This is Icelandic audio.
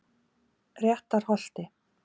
Réttarholti